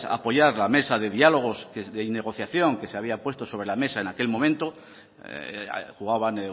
apoyar la mesa de diálogo y de negociación que se había puesto sobre la mesa en aquel momento jugaban